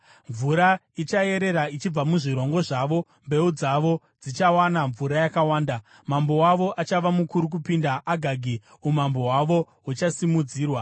Mvura ichayerera ichibva muzvirongo zvavo; mbeu dzavo dzichawana mvura yakawanda. “Mambo wavo achava mukuru kupinda Agagi; umambo hwavo huchasimudzirwa.